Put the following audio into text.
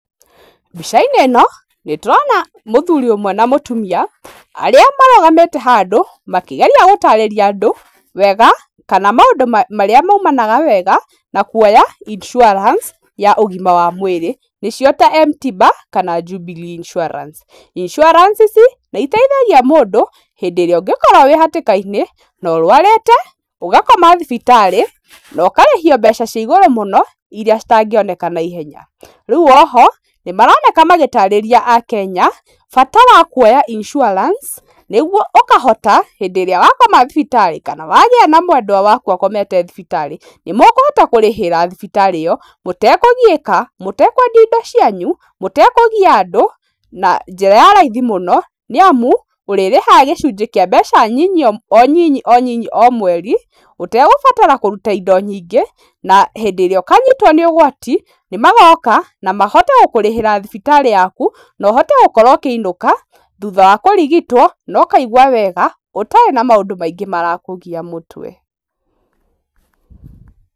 Mbica-inĩ ĩno nĩ tũrona mũthuri ũmwe na mũtumia, arĩa marũgamĩte handũ makĩgeria gũtarĩria andũ, wega kana maũndũ marĩa maumanaga wega na kuoya insurance ya ũgima wa mwĩrĩ nĩcio ta M-tiba jana Jubilee Insurance. insurance ici nĩ iteithagia mũndũ hĩndĩ ĩrĩa ũngĩkorwo wĩ hatĩka-inĩ, na ũrwarĩte ũgakoma thibitarĩ, nokarĩhio mbeca cia igũrũ mũno, iria citangĩoneka naihenya, rĩu oho nĩ maroneka magĩtarĩria akenya bata wa kuoya insurance nĩguo ũkahota hĩndĩ ĩrĩa wakoma thibitarĩ kana wagĩa na mwendwa waku akomete thibitarĩ, nĩ mũkũhota kũrĩhĩra thibitarĩ ĩyo, mũtekũgiĩka, mũtekwendia indo cianyu, mũtekũgia andũ, na njĩra ya raithi mũno, nĩ amu ũrĩrĩhaga cĩcunjĩ kĩa mbeca nyinyi o nyinyi o nyinyi mweri, ũtegũbatara kũruta indo nyingĩ, na hĩndĩ ĩrĩa ũkanyitwo nĩ ũgwati, nĩ magoka na mahote gũkũrĩhĩra thibitarĩ yaku, nohote gũkorwo ũkĩinũka, thutha wa kũrigitwo nokaigwa wega, ũtarĩ na maũndũ maingĩ marakũgia mũtwe.